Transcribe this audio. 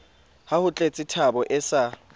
ha ho tletsethabo e sa